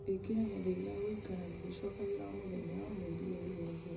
ĩkĩra gĩathĩ gĩa gũikaraga gĩgĩcokagĩra o mũthenya mweri ũyũ wothe